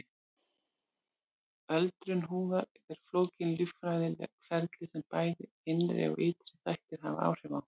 Öldrun húðar er flókið líffræðilegt ferli sem bæði innri og ytri þættir hafa áhrif á.